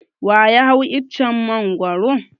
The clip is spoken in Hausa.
Wa ya hau icen Mangwaro?